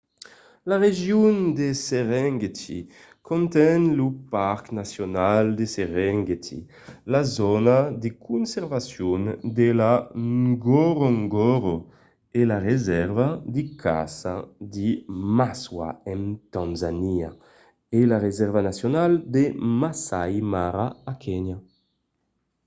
la region de serengeti conten lo parc nacional de serengeti la zòna de conservacion de ngorongoro e la resèrva de caça de maswa en tanzania e la resèrva nacionala de masai mara a kenya